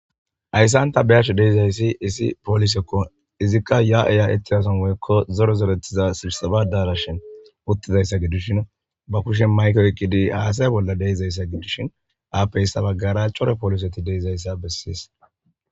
Hayssanta beyach deizayssi isi poolisekko izikka ya7eya ettiyason woyekko zoro zeretiza sirsabadaarashin uttidayssa gidishin ba kushen mayko ekqidi haasaya bolla deizayssa gidishin aappeyssa baggara chore pooliseti deizayssa bessiis